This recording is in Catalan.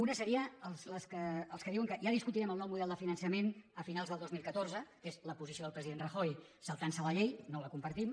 una seria la dels que diuen que ja discutirem el nou model de finançament a finals del dos mil catorze que és la posició del president rajoy saltant se la llei no la compartim